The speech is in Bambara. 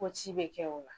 Ko ci bɛ kɛ o la